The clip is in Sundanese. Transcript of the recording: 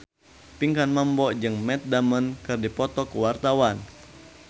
Pinkan Mambo jeung Matt Damon keur dipoto ku wartawan